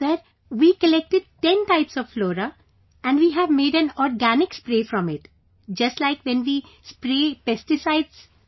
Sir, we collected ten types of flora and we have made an organic spray from it, just like when we spray pesticides etc